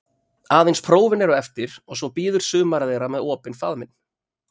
Aðeins prófin eru eftir og svo bíður sumarið þeirra með opinn faðminn.